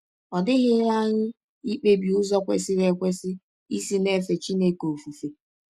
Ọ dịghịrị anyị ikpebi ụzọ kwesịrị ekwesị isi na - efe Chineke ọfụfe.